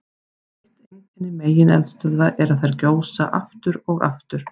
Eitt einkenni megineldstöðva er að þær gjósa aftur og aftur.